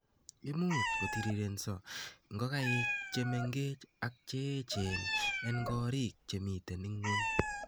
Imuch kotirirenso ngokaik che mengech ak cheechen en korik chemiten ngw'ony